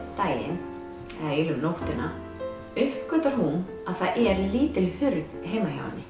daginn eða eina nóttina uppgötvar hún að það er lítil hurð heima hjá henni